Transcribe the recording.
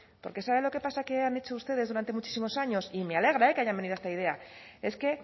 porque saben lo que pasa que han hecho ustedes durante muchísimos años y me alegra que hayan venido a esta idea es que